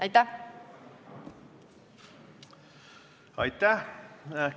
Aitäh!